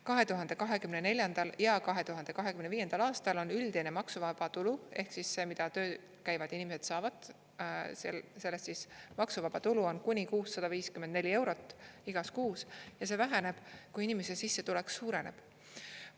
2024. ja 2025. aastal on üldine maksuvaba tulu ehk siis see, mida tööl käivad inimesed saavad, sellest maksuvaba tulu on kuni 654 eurot igas kuus ja see väheneb, kui inimese sissetulek suureneb.